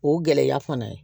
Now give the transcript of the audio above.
O gɛlɛya fana ye